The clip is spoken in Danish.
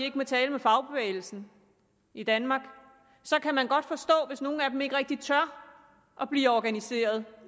ikke må tale med fagbevægelsen i danmark kan man godt forstå hvis nogle af dem ikke rigtig tør blive organiseret